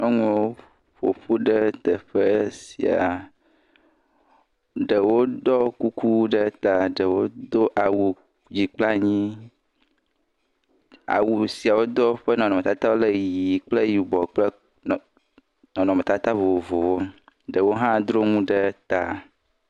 Nyɔnuwo ƒo ƒu ɖe teƒe sia, ɖewo ɖɔ kuku ɖe ta, ɖewo do awu dzi kple anyi, awu sia wodo ƒe nɔnɔmɔtatawo le ʋɛ̃ kple yibɔ kple nɔnɔmetata vovovowo, ɖewo hã dro nuwo ɖe ta.